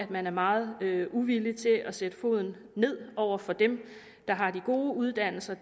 man er meget uvillig til at sætte foden ned over for dem der har de gode uddannelser